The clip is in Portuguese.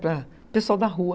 Para o pessoal da rua.